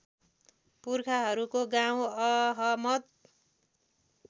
पुर्खाहरूको गाउँ अहमद